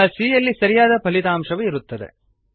ಈಗ c ಯಲ್ಲಿ ಸರಿಯಾದ ಫಲಿತಾಂಶವು ಇರುತ್ತದೆ